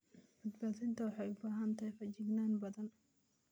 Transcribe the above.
Badbaadinta waxay u baahan tahay feejignaan badan.